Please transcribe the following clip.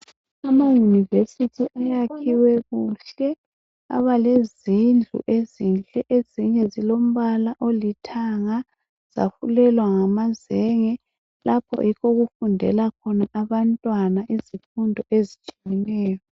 ama university ayakhiwe kuhle aba lezindlu ezinhle ezinye zilombala olithanga zafulelwa ngamazenge lapho yikho okufundela khona abantwana izifundo ezitshiyeneyo